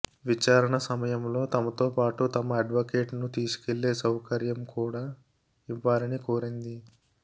విచారణ సమయంలో తమతో పాటు తమ అడ్వకేట్ ను తీసుకెళ్లే సౌకర్యం కూడా ఇవ్వాలని కోరింది